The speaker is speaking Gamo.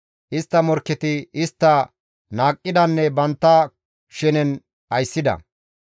Istta morkketi istta naaqqidanne bantta shenen ayssida.